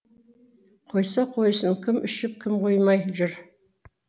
қойса қойсын кім ішіп кім қоймай жүр